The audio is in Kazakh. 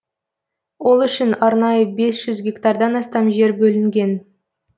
ол үшін арнайы бес гектардан астам жер бөлінген